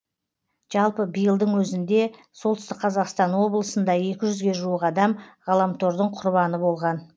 жалпы биылдың өзінде солтүстік қазақстан облысында екі жүзге жуық адам ғаламтордың құрбаны болған